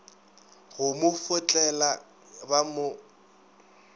go mo fotlela ba mo